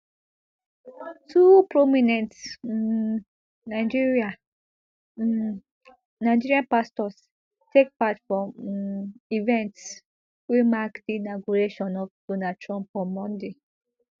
two prominent um nigerian um nigerian pastors take part for um events wey mark di inauguration of donald trump on monday